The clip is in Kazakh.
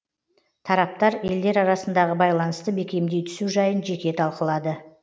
тараптар елдер арасындағы байланысты бекемдей түсу жайын жеке талқылады